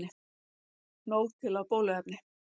Nóg til af bóluefni